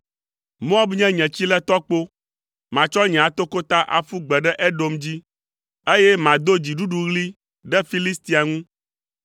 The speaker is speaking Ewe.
Moab nye nye tsiletɔkpo, matsɔ nye atokota aƒu gbe ɖe Edom dzi, eye mado dziɖuɖuɣli ɖe Filistia ŋu.”